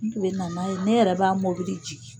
N tun bɛ na n'a ye ne yɛrɛ b'a mobili jigin.